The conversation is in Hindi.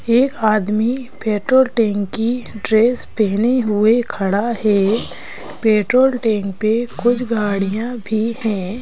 एक आदमी पेट्रोल टैंक की ड्रेस पहने हुए खड़ा है पेट्रोल टैंक पे कुछ गाड़ियां भी है।